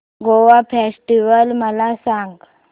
Goa festival मला सांग